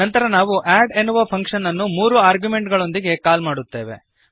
ನಂತರ ನಾವು ಅಡ್ ಎನ್ನುವ ಫಂಕ್ಶನ್ ಅನ್ನು ಮೂರು ಆರ್ಗ್ಯುಮೆಂಟುಗಳೊಂದಿಗೆ ಕಾಲ್ ಮಾಡುತ್ತೇವೆ